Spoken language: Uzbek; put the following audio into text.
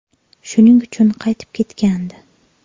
Shuning uchun qaytib ketgandi.